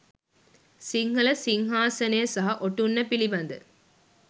සිංහල සිංහාසනය සහ ඔටුන්න පිළිබඳ